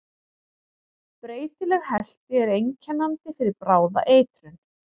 Breytileg helti er einkennandi fyrir bráða eitrun.